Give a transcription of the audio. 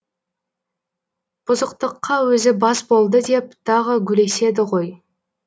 бұзықтыққа өзі бас болды деп тағы гулеседі ғой